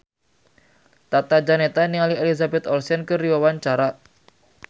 Tata Janeta olohok ningali Elizabeth Olsen keur diwawancara